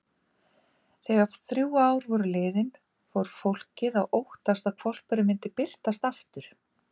Þegar þrjú ár voru liðin fór fólkið að óttast að hvolpurinn myndi birtast aftur.